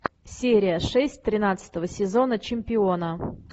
серия шесть тринадцатого сезона чемпиона